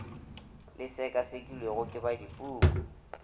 le sekasekilwego ke ba dipuku